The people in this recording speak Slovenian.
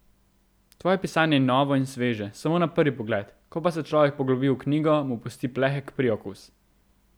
Tvoje pisanje je novo in sveže samo na prvi pogled, ko pa se človek poglobi v knjigo, mu pusti plehek priokus.